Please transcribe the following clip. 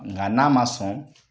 Nka n'a ma sɔn